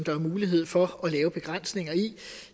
er mulighed for at lave begrænsninger i det